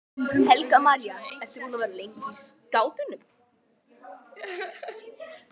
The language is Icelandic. Helga María: Ertu búin að vera lengi í skátunum?